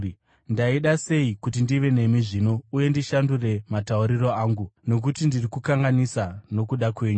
ndaida sei kuti ndive nemi zvino uye ndishandure matauriro angu, nokuti ndiri kukanganisika nokuda kwenyu.